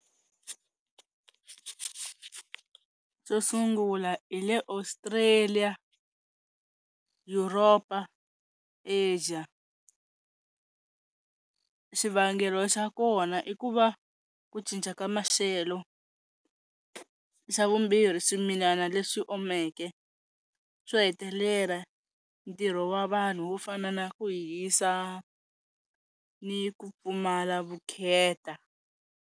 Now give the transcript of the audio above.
Xo sungula hi le Australian, Europa, Asia. Xivangelo xa kona i ku va ku cinca ka maxelo, xa vumbirhi swimilana leswi omeke, swo hetelela ntirho wa vanhu wo fana na ku hisa ni ku pfumala vukheta.